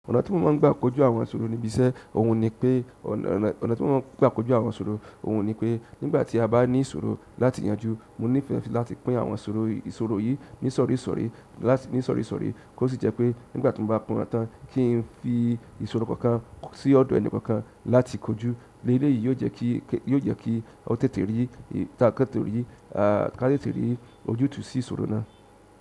Ọ̀nà tí mo má ń gbà kojú àwọn ìṣòro ni bí iṣẹ́, òhun ni pé, ọ̀nà tí mo má ń gbà kojú àwọn ìṣòro òhun ni pé nígbà tí a bá ní ìṣòro láti yanjú, mo nífẹ̀ẹ́ láti pín àwọn ìṣòro yìí ní ìsọ̀rí ìsọ̀rí láti ní ìsọ̀rí ìsọ̀rí. Tosi je pe nígbà ti mo ba pín won tan, ki n fi ìṣòro kan kan si odo enikan kan kan láti koju. Eleyii yìí yóò jẹ́ kí, yóò jẹ́ kí ọ̀tẹ́tẹ́ rí, ká tètè rí ojútùú sí ìṣòro náà.